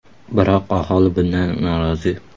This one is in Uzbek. Biroq aholi bundan norozi.